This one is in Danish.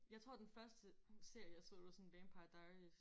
Jeg tror den første serie jeg så det var sådan vampire diaries